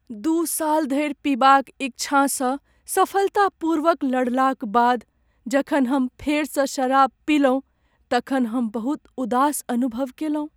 दू साल धरि पीबाक इच्छासँ सफलतापूर्वक लड़लाक बाद जखन हम फेरसँ शराब पीलहुँ तखन हम बहुत उदास अनुभव कयलहुँ ।